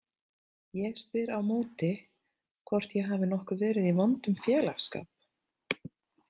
Ég spyr á móti hvort ég hafi nokkuð verið í vondum félagsskap.